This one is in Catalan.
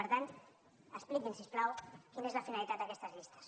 per tant expliqui’ns si us plau quina és la finalitat d’aquestes llistes